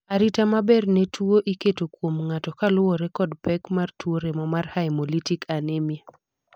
arita maber ne tuo iketo kuom ng'ato kaluwore kod pek mar tuo remo mar haemolytic anemia